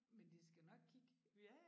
Men de skal nok kigge